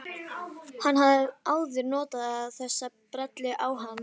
Hann hefur áður notað þessa brellu á hana.